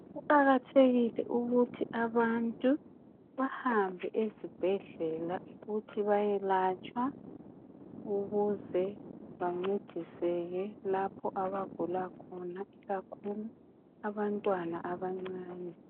Kuqakathekile ukuthi abantu bahambe ezibhedlela ukuthi beyelatshwa ukuze bancediseke lapho abagula khona ikakhulu abantwana abancane.